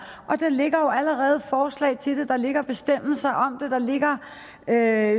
og der ligger jo allerede forslag til det der ligger bestemmelser og der